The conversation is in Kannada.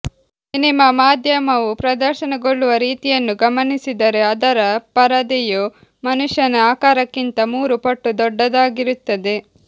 ಸಿನೆಮಾ ಮಾಧ್ಯಮವು ಪ್ರದರ್ಶನಗೊಳ್ಳುವ ರೀತಿಯನ್ನು ಗಮನಿಸಿದರೆ ಅದರ ಪರದೆಯು ಮನುಷ್ಯನ ಆಕಾರಕ್ಕಿಂತ ಮೂರು ಪಟ್ಟು ದೊಡ್ಡದಾಗಿರುತ್ತದೆ